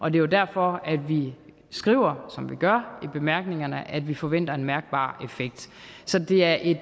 er jo derfor at vi skriver som vi gør i bemærkningerne nemlig at vi forventer en mærkbar effekt så det er et